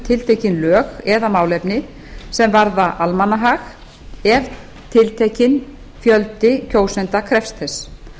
tiltekin lög eða málefni sem varða almannahag ef tiltekinn fjöldi kjósenda krefst þess